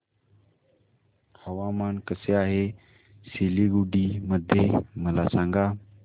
हवामान कसे आहे सिलीगुडी मध्ये मला सांगा